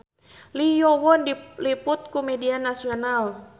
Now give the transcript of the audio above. Lee Yo Won diliput ku media nasional